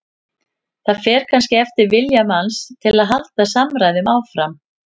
Það fer kannski eftir vilja manns til að halda samræðum áfram.